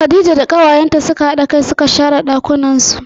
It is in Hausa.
Khadija da kawayenta suka hada kai suka share ɗakunnan su.